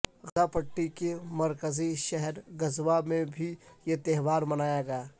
غزہ پٹی کے مرکزی شہر غزہ میں بھی یہ تہوار منایا گیا